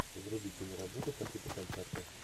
вруби киноработу по типу концерта